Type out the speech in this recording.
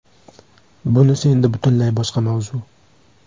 Bunisi endi butunlay boshqa mavzu.